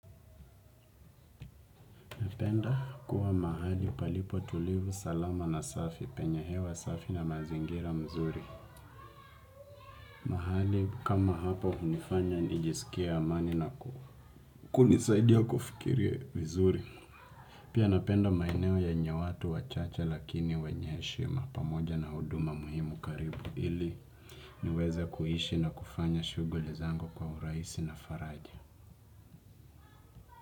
Napenda kuwa mahali palipo tulivu salama na safi penye hewa safi na mazingira mzuri. Mahali kama hapa hunifanya nijisikie amani na kunisaidia kufikiria vizuri. Pia napenda maeneo yenye watu wachache lakini wenye heshima pamoja na huduma muhimu karibu ili niweze kuishi na kufanya shughuli zangu kwa urahisi na faraja.